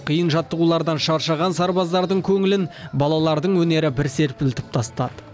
қиын жаттығулардан шаршаған сарбаздардың көңілін балалардың өнері бір серпілтіп тастады